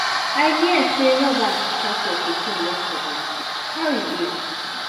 i hear say robbers attack your pikin yesterday. how he dey?